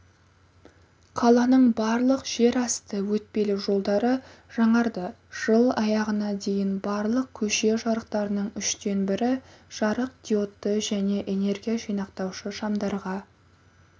қаланың барлық жер асты өтпелі жолдары жаңарды жыл аяғына дейін барлық көше жарықтарының үштен бірі жарық диодты және энергия жинақтаушы шамдарға